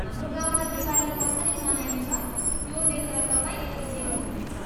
हाम्रो गाउँमा दिवाली कसरी मनाइन्छ, त्यो देखेर तपाईँ खुसी हुनुहुनेछ।